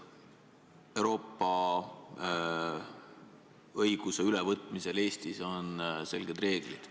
Euroopa õiguse ülevõtmisel Eestis on selged reeglid.